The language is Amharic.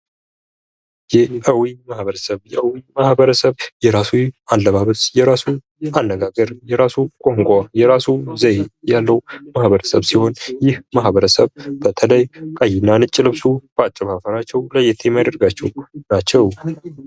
የ አዊ ማህበረሰብ የራሱ አለባበስ ፣የራሱ አነጋገር ፣የራሱ ቋንቋ፣ የራሱ ዘዬ ያለው ማህበረሰብ ሲሆን፤ ይህ ማህበረሰብ በተለይ ቀይና ነጭ ለብሶ በአጨፋፈራቸው ለየት የሚያደርጋቸው ናቸው።